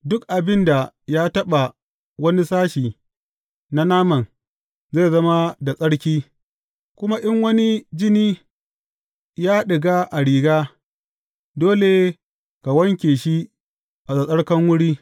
Duk abin da ya taɓa wani sashe na naman, zai zama da tsarki, kuma in wani jini ya ɗiga a riga, dole ka wanke shi a tsattsarkan wuri.